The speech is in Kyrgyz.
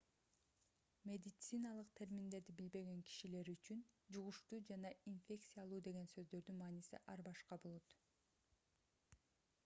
медициналык терминдерди билбеген кишилер үчүн жугуштуу жана инфекциялуу деген сөздөрдүн мааниси ар башка болот